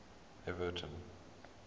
everton